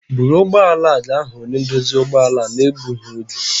Bụrụ ụgbọb ala a ga hu onye ndosi ụgbọ ala. na-egbugi oge!